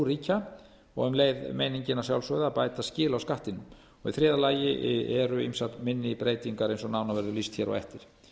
ríkja og um leið meiningin að sjálfsögðu að bæta skil á skattinum í þriðja lagi eru ýmsar minni breytingar eins og nánar verður lýst hér á eftir